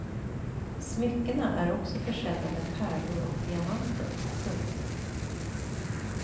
Smyckena är också försedda med pärlor och diamanter. punkt